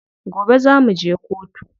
Gobe za muje kotu.